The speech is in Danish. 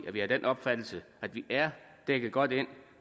er vi af den opfattelse at vi er dækket godt ind